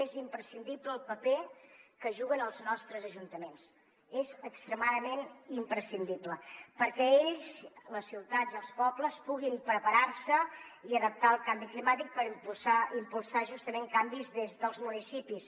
és imprescindible el paper que juguen els nostres ajuntaments és extremadament imprescindible perquè ells les ciutats i els pobles puguin preparar se i adaptar al canvi climàtic per impulsar justament canvis des dels municipis